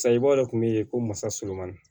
Sayibaaw de tun bɛ yen ko masa surumani